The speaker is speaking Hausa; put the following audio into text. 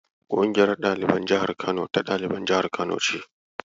Ƙungiyar ɗaliban jihar Kano ta ɗaliban jihar Kano ce.